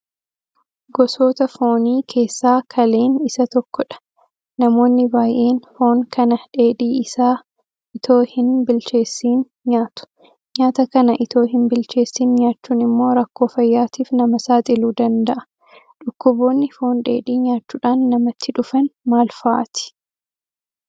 Gosoota Foonii keessaa Kaleen isa tokkodha. Namoonni baay'een foon kana dheedhii isaa itoo hinbilcheessin nyaatu. Nyaata kana itoo hinbilcheessin nyaachuun immoo rakkoo fayyaatiif nama saaxiluu danda'a. Dhukkuboonni Foon dheedhii nyaachuudhaan namatti dhufan maal fa'aati?